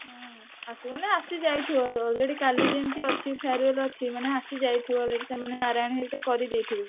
ହୁଁ ଆସିବ ମାନେ ଆସିଯାଇଥିବ already କାଲି ଯେମତି ଅଛି farewell ଅଛି ମାନେ ଆସିଯାଇଥିବ already ସେମାନେ ନାରାୟଣ ହରିକା କରିଦେଇଥିବେ।